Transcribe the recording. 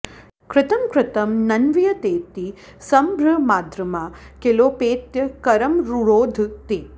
कृतं कृतं नन्वियतेति सम्भ्रमाद्रमा किलोपेत्य करं रुरोध ते